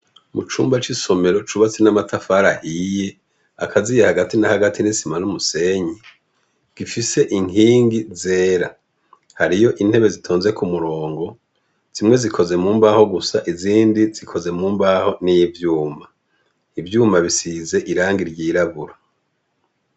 Mucumba c' isomero cubatse n' amatafar' ahiy' akaziye hagati na hagati n' isimana n' umusenyi, gifis' inkingi zera, hariy' intebe zitonze k' umurongo, zimwe zikozwe mumbaho gusa, izindi zikoze mumbaho n ivyuma; ivyuma bisiz' irangi ryirabura.